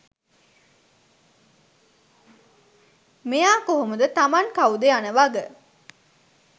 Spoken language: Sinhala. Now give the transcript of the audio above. මෙයා කොහොමද තමන් කවුද යනවග